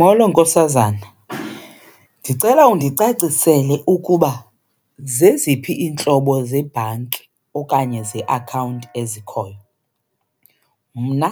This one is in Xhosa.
Molo nkosazana, ndicela undicacisele ukuba zeziphi iintlobo zebhanki okanye zeakhawunti ezikhoyo. Mna